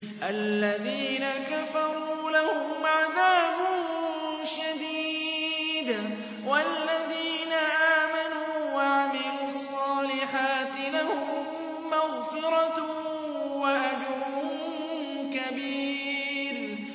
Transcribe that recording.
الَّذِينَ كَفَرُوا لَهُمْ عَذَابٌ شَدِيدٌ ۖ وَالَّذِينَ آمَنُوا وَعَمِلُوا الصَّالِحَاتِ لَهُم مَّغْفِرَةٌ وَأَجْرٌ كَبِيرٌ